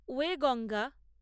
Wainganga